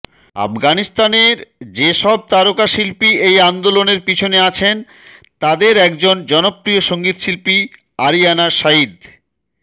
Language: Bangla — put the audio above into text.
আফগানিস্তানের যেসব তারকা শিল্পী এই আন্দোলনের পেছনে আছেন তাদের একজন জনপ্রিয় সঙ্গীত শিল্পী আরিয়ানা সাঈদ